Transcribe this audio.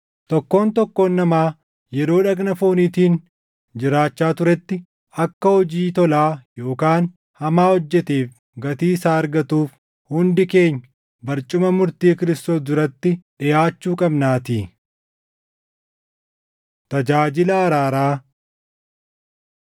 Tokkoon tokkoon namaa yeroo dhagna fooniitiin jiraachaa turetti akka hojii tolaa yookaan hamaa hojjeteef gatii isaa argatuuf hundi keenya barcuma murtii Kiristoos duratti dhiʼaachuu qabnaatii. Tajaajila Araaraa